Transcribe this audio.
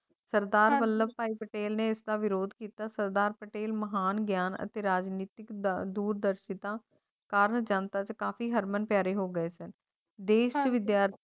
ਸਰਦਾਰ ਵੱਲਭ ਭਾਈ ਪਟੇਲ ਨੇ ਇਸਦਾ ਵਿਰੋਧ ਕੀਤਾ ਸਰਦਾਰ ਪਟੇਲ ਮਹਾਨ ਗਿਆਨ ਅਤੇ ਰਾਜਨੀਤੀ ਦੁੱਧ ਪੀਤਾ ਕਾਗਜਾਤ ਆਦਿ ਕਾਫ਼ੀ ਹਰਮਨ ਪਿਆਰੇ ਹੋ ਦੇਗਾਂ ਵਿਦਿਆਰਥੀ